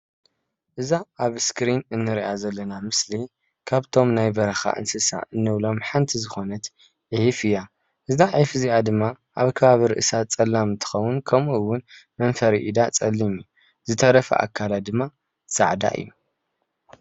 እዛ ኣብ እስክሪን እንሪኣ ዘለና ምስሊ ካብቶም ናይ በረካ እንስሳ እንብሎም ሓንቲ ዝኮነት ዒፍ እያ፣ እዛ ዒፍ ድማ ኣብ ከባቢ ርእሳ ፀላም እንትከውን ከምኡ እውን መንፈሪኣ ፀሊም ዝተረፈ ኣካላ ድማ ፃዕዳ እዩ፡፡